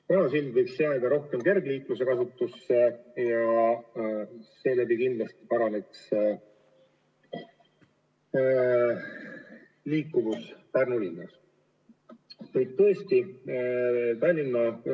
Vana sild võiks jääda eelkõige kergliiklejate kasutusse ja seeläbi kindlasti paraneksid ka liikumisvõimalused Pärnu linnas.